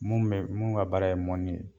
Mun be mun ka baara ye mɔni ye